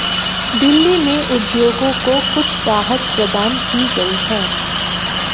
दिल्ली में उद्योगों को कुछ राहत प्रदान की गई है